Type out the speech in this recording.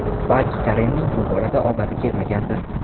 Balki Karenning bu borada omadi kelmagandir?